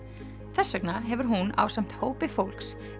þess vegna hefur hún ásamt hópi fólks